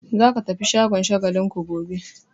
Za ka tafi shagon Shagalinku gobe!